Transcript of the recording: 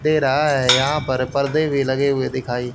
दे रहा है यहां पर पर्दे भी लगे हुए दिखाई--